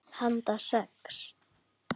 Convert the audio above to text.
Í frosti, vaxandi vindi.